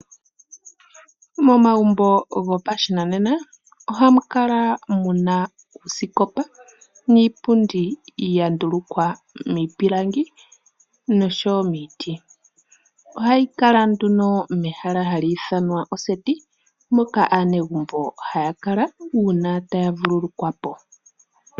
Momagumbo gopashinanena ohamu kala muna uusikopa niipundi ya ndulukwa miipilangi, noshowo miiti. Ohayi kala nduno mehala hali ithanwa oseti, moka aanegumbo haya kala uuna taya vululukwapo.